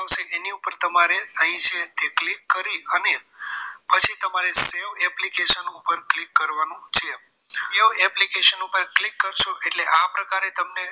એની ઉપર તમારે અહીં છે click અને પછી તમારે save application ઉપર click કરવાનું છે આ application ઉપર click કરશો એટલે આ પ્રકારે તમને